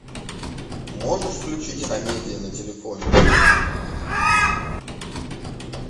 можешь включить амедиа на телефоне